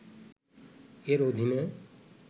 এর অধীনে